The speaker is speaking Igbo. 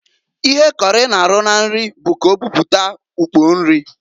Ihe kọrị na-arụ na nri bụ ka owere buputa ukpo nri.